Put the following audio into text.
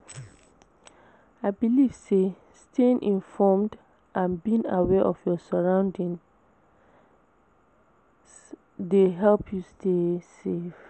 I believe say staying informed and being aware of your surroundings dey help you stay safe.